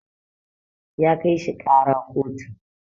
ya kai shi kara kotu